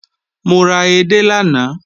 Mo ra edé lánàá